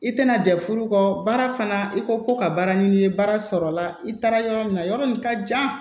I tɛna jɛ furu kɔ baara fana i ko ko ka baara ɲini baara sɔrɔla i taara yɔrɔ min na yɔrɔ min ka jan